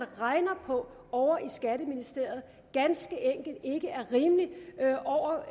regner på ovre i skatteministeriet ganske enkelt ikke er rimelig